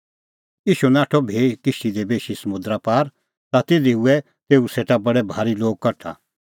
ईशू नाठअ भी किश्ती दी बेशी समुंदरा पार ता तिधी हुऐ तेऊ सेटा बडै भारी लोग कठा